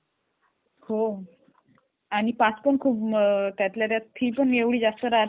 पन्नास हजारांचा, ऐंशी हजाराचा shirt घालतो ते. त्याची pant साठ हजाराची, सत्तर हजाराची. त्याचा आजूक त्याचा . ऐंशी हजाराचा त्याचा . आजूक त्याची टोपी,